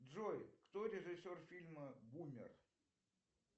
джой кто режиссер фильма бумер